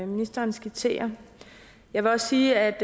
ministeren skitserer jeg vil også sige at